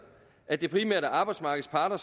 at det primært er arbejdsmarkedets parter